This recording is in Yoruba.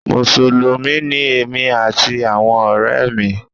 Mùsùlùmí ni èmi àti àwọn ọ̀rẹ́ mi.